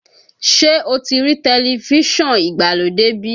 Ṣé o ti rí tẹlifíṣọ̀n ìgbàlódé bí?